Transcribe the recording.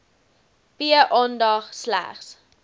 p aandag slegs